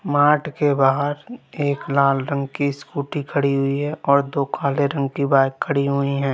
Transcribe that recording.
Mart के बाहर एक लाल रंग की स्कूटी खड़ी हुई है और दो काले रंग की बाइक खड़ी हुई है।